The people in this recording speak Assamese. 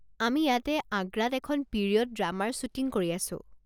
আমি ইয়াতে আগ্ৰাত এখন পিৰিয়ড ড্ৰামাৰ শ্বুটিং কৰি আছো।